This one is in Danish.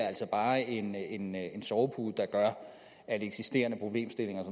altså bare en en sovepude der gør at eksisterende problemstillinger